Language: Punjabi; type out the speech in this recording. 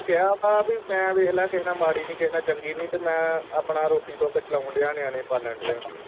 ਇਹਨੂੰ ਮੈਂ ਕਿਹਾ ਵਾ ਪੀ ਮੈਂ ਵੇਖਲਾ ਕਿਹ ਨਾ ਮਾੜੀ ਨੀ ਕਿਹ ਨਾ ਚੰਗੀ ਨੀ ਤੇ ਮੈਂ ਆਪਣਾ ਰੋਟੀ ਟੁੱਕ ਚਲਾਉਣ ਦਿਆ ਨਿਆਣੇ ਪਾਲਣ ਦਿਆਂ